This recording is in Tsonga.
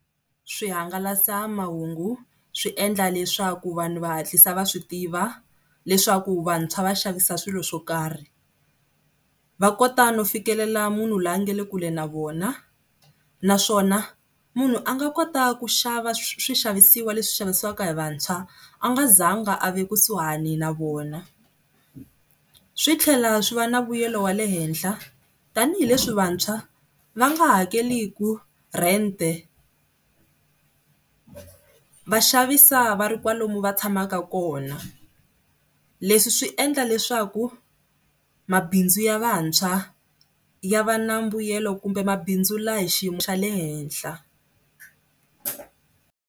Swihangalasamahungu swi endla leswaku vanhu va hatlisa va swi tiva leswaku vantshwa va xavisa swilo swo karhi. Va kota no fikelela munhu la nga le kule na vona naswona munhu a nga kota ku xava swixavisiwa leswi xavisiwaka hi vantshwa a nga zanga a ve kusuhani na vona, swi tlhela swi va na vuyelo wa le henhla tanihileswi vantshwa va nga hakeleki rent-e. Va xavisa va ri kwalomu va tshamaka kona. Leswi swi endla leswaku mabindzu ya vantshwa ya va na mbuyelo kumbe mabindzu la hi xiyimo xa le henhla.